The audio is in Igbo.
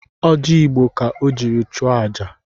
Ọji Igbo ka o jiri chụọ aja